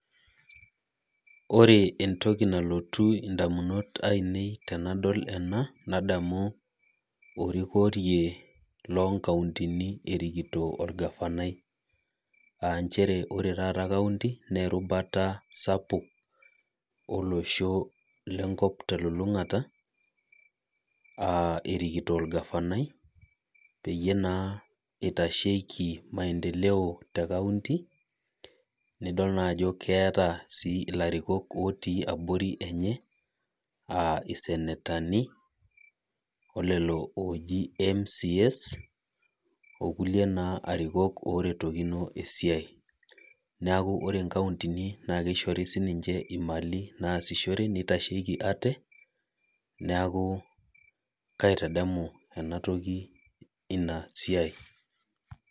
Ore entoki nalotu indamunot ainei tenadol ena nadamu orikorie loonkauntini erikito olgavanai aa inchere ore taata kaunti nee eributa sapuk olosho lenkop telulungata aa erikitok olgavanai peyie naa eitasheiki maendeleo te kaunti nidol naa ajo keeta sii ilarikon ootii abori enye aa isenetani olelo ooji mcas okulie naa arikok oretokino esiae neeku o kauntini naa kishori sininche imali naasishore neitasheiki ate neeku kaitadamu ena toki Ina siae.